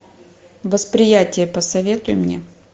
восприятие посоветуй мне